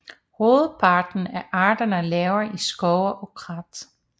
Hovedparten af arterne lever i skove og krat